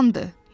Amandır!